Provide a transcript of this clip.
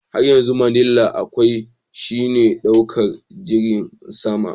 Hanyar zuwa manila kawai shine ɗaukar jirgin sama.